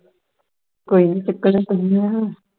ਕੋਈ ਨੀ ਚੱਕਣਾ ਤੁਸਿਓਂ ਵਾ